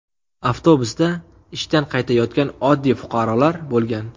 Avtobusda ishdan qaytayotgan oddiy fuqarolar bo‘lgan.